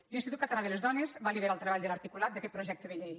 l’institut català de les dones va liderar el treball de l’articulat d’aquest projecte de llei